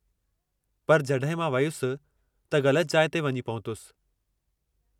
पर जॾहिं मां वयुसि, त ग़लति जाइ ते वञी पहुतसि।